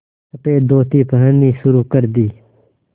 सफ़ेद धोती पहननी शुरू कर दी